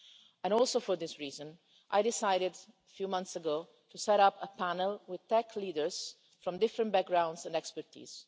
and, partly for that reason, I decided a few months ago to set up a panel with tech leaders from different backgrounds and fields of expertise.